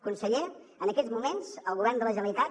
conseller en aquests moments el govern de la generalitat